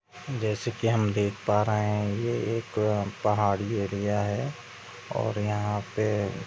जैसे की हम देख पा रहे है ये एक पहाड़ी एरिया है। और यहाँ पे--